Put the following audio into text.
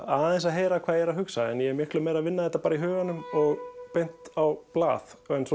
að heyra hvað ég er að hugsa ég er miklu meira að vinna þetta í huganum og beint á blað